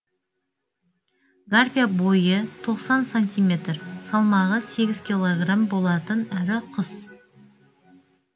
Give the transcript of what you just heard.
гарпия бойы тоқсан сантиметр салмағы сегіз килограмм болатын ірі құс